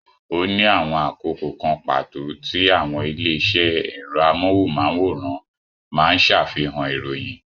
Ó ní àwọn àkókò kan pàtó tí àwọn ilé-iṣẹ́ ẹ̀rọ amóhùmáwòhán máa ń ṣàfihàn ìròyìn.